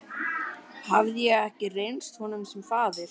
Hafði ég ekki reynst honum sem faðir?